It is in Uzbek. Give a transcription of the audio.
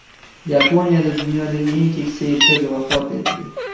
Yaponiyada dunyodagi eng keksa erkak vafot etdi.